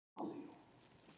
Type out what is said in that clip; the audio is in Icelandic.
Sólveig